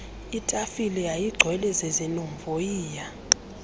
itafile yayigcwele zizinovoyiya